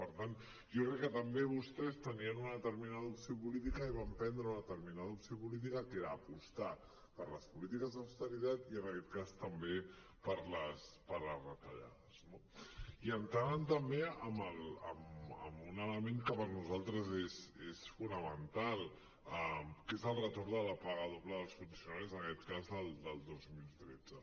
per tant jo crec que també vostès tenien una determinada opció política i van prendre una determinada opció política que era apostar per les polítiques d’austeritat i en aquest cas també per les retallades no i entràvem també en un element que per nosaltres és fonamental que és el retorn de la paga doble dels funcionaris en aquest cas del dos mil tretze